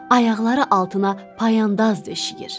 Ayaqları altına payandaz döşəyir.